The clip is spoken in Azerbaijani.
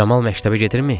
Camal məktəbə gedirmi?